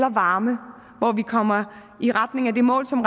og varme hvor vi kommer i retning af det mål som